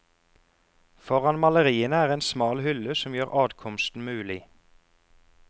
Foran maleriene er en smal hylle som gjør adkomsten mulig.